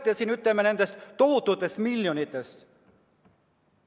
Te räägite siin tohututest miljonitest.